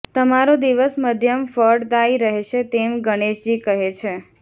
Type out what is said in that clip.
તમારો દિવસ મધ્યમ ફળદાયી રહેશે તેમ ગણેશજી કહે છે